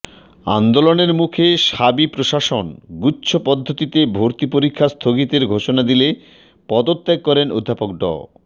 আন্দোলনের মুখে শাবি প্রশাসন গুচ্ছ পদ্ধতিতে ভর্তি পরীক্ষা স্থগিতের ঘোষণা দিলে পদত্যাগ করেন অধ্যাপক ড